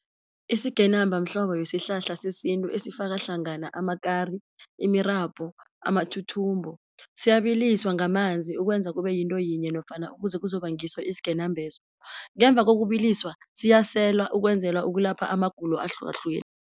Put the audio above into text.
Isigenamba mhlobo wesihlahla sesintu esifaka hlangana amakari, imirabhu, amathuthumbo siyabiliswa ngamanzi ukwenza kube yinto yinye nofana ukuze kuzoba ngiso isigenambeso, ngemva kokubiliswa siyaselwa ukwenzelwa ukulapha amagulo ahlukahlukene